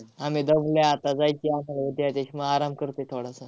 आम्ही बघूया आता जायचे उद्या, आराम करतोय थोडासा.